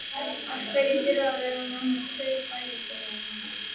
Af hverju þurfa að vera nánast tveir bæjarstjórar núna?